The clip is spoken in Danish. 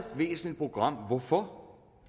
væsentligt program hvorfor